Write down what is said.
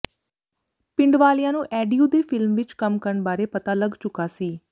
ਪਿੰਡ ਵਾਲਿਆਂ ਨੂੰ ਐਡੀਊ ਦੇ ਫਿਲਮ ਵਿਚ ਕੰਮ ਕਰਨ ਬਾਰੇ ਪਤਾ ਲੱਗ ਚੁਕਾ ਸੀ